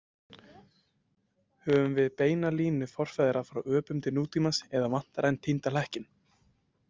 Höfum við beina línu forfeðra frá öpum til nútímamanns eða vantar enn týnda hlekkinn?